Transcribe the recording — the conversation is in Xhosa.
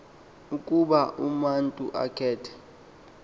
ukuba umatu akhethe